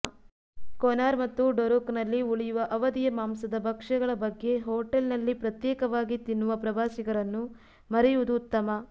ಕೊನಾರ್ ಮತ್ತು ಡೊರುಕ್ನಲ್ಲಿ ಉಳಿಯುವ ಅವಧಿಯ ಮಾಂಸದ ಭಕ್ಷ್ಯಗಳ ಬಗ್ಗೆ ಹೋಟೆಲ್ನಲ್ಲಿ ಪ್ರತ್ಯೇಕವಾಗಿ ತಿನ್ನುವ ಪ್ರವಾಸಿಗರನ್ನು ಮರೆಯುವುದು ಉತ್ತಮ